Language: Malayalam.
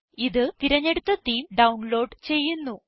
ഇത് തിരഞ്ഞെടുത്ത തേമെ ഡൌൺലോഡ് ചെയ്യുന്നു